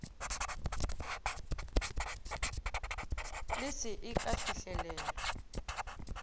le se e ka fihlelewa